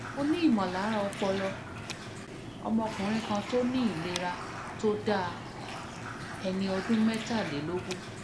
mo ní "imolara opolo" ọ̀mọ́kùnrin kan tó ní ìlera tó dáa ẹni ọdún mẹ́tàlélógún